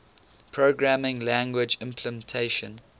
programming language implementation